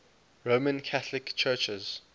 roman catholic churches